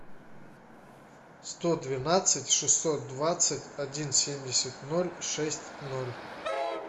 сто двенадцать шестьсот двадцать один семьдесят ноль шесть ноль